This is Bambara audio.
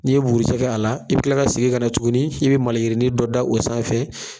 N'i ye buguri jɛ k'a la i bɛ kila ka segi ka na tuguni i bɛ maliyirini dɔ da o sanfɛ